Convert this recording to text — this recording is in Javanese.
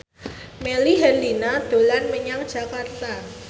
Melly Herlina dolan menyang Jakarta